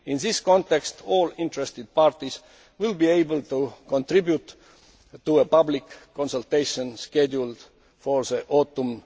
In this context all interested parties will be able to contribute to a public consultation scheduled for the autumn.